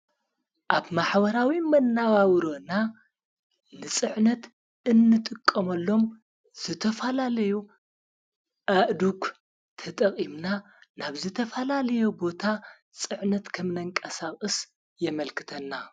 ኣብ ማኅዋራዊ መናዋውሩና ልጽዕነት እንጥቆምሎም ዝተፋላለዩ ኣእዱኽ ተጠቕምና ናብ ዝተፋላለዮ ቦታ ጽዕነት ከምነንቀሳእስ የመልክተና።